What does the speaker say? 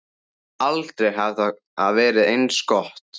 Aldrei hafði það verið eins gott.